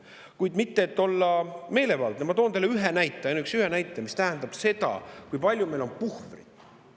Kuid et mitte olla meelevaldne, toon ma teile ühe näite, ainuüksi ühe näite, mis seda, kui palju meil on puhvrit.